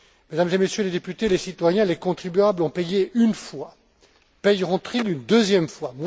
Mesdames et Messieurs les députés, les citoyens, les contribuables, ont payé une fois, paieront ils une deuxième fois?